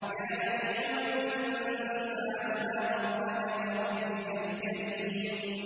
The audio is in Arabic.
يَا أَيُّهَا الْإِنسَانُ مَا غَرَّكَ بِرَبِّكَ الْكَرِيمِ